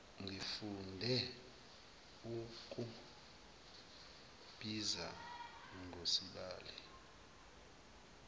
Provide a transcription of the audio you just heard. ngifunde ukukubiza ngosibali